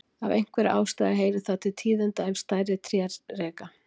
Af einhverri ástæðu heyrir það til tíðinda ef stærri tré reka.